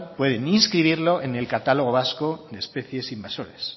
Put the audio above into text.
pueden inscribirlo en el catálogo vasco de especies invasoras